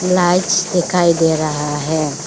Lights दिखाई दे रहा है।